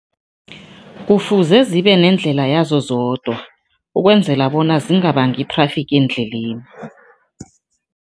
Kufuze zibe nendlela yazo zodwa, ukwenzela bona zingabangi i-traffic endleleni.